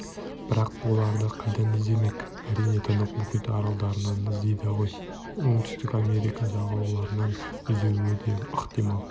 бірақ оларды қайдан іздемек әрине тынық мұхит аралдарынан іздейді ғой оңтүстік америка жағалауларынан іздеуі де ықтимал